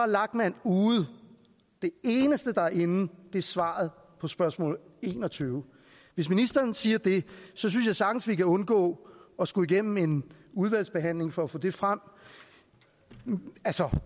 lachmann ude det eneste der er inde er svaret på spørgsmål enogtyvende hvis ministeren siger det synes jeg sagtens vi kan undgå at skulle igennem en udvalgsbehandling for at få det frem